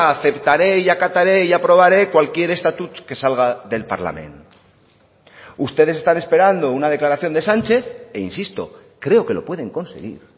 aceptaré y acataré y aprobaré cualquier estatut que salga del parlament ustedes están esperando una declaración de sánchez e insisto creo que lo pueden conseguir